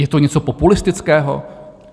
Je to něco populistického?